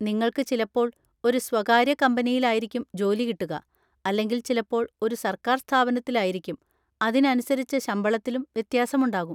നിങ്ങൾക്ക് ചിലപ്പോൾ ഒരു സ്വകാര്യ കമ്പനിയിലായിക്കും ജോലി കിട്ടുക, അല്ലെങ്കിൽ ചിലപ്പോൾ ഒരു സർക്കാർ സ്ഥാപനത്തിലായിരിക്കും; അതിനനുസരിച്ച് ശമ്പളത്തിലും വ്യത്യാസമുണ്ടാകും.